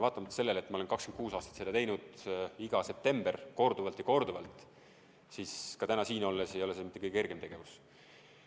Vaatamata sellele, et ma olen 26 aastat seda teinud, iga aasta septembris korduvalt ja korduvalt, ei ole see ka täna siin olles mitte kõige kergem tegevus.